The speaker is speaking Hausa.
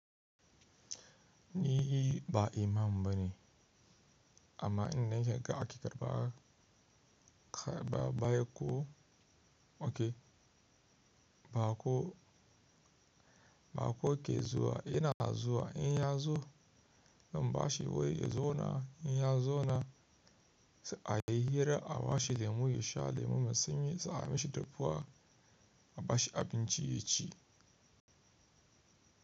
Ni ba imam bane amma inna shiga aƙidar ba, ba, ba ko, oke, bako, ba ko ke zuwa ina na zuwa in ya zo. Zan bashi wuri ya zo na in ya zo na a yi hira a bashi lemu ya sha lemon mai sanyi sai a mishi dapuwa a bashi abinci ya ci.